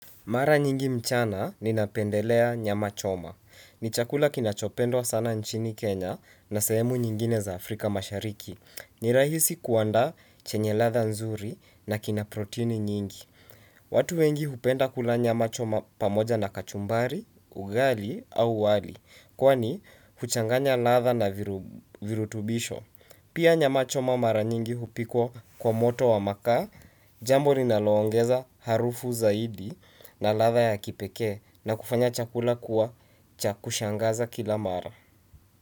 Mara nyingi mchana ninapendelea nyama choma. Ni chakula kinachopendwa sana nchini Kenya na sehemu nyingine za Afrika mashariki. Ni rahisi kuandaa chenye ladha nzuri na kina proteini nyingi. Watu wengi hupenda kula nyama choma pamoja na kachumbari, ugali au wali. Kwani huchanganya ladha na virutubisho. Pia nyama choma mara nyingi hupikwa kwa moto wa makaa, jambo ninaloongeza harufu zaidi. Na ladha ya kipeke na kufanya chakula kuwa cha kushangaza kila mara.